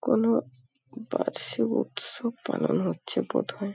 কোনো বার্ষিক উৎসব পালন হচ্ছে বোধ হয়।